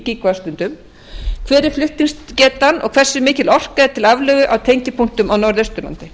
gíga vattstundir hver er flutningsgetan og hversu mikil orka er til aflögu á tengipunktum á norðausturlandi